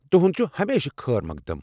تُہُنٛد چھُ ہمیشہِ خٲر مخدم ۔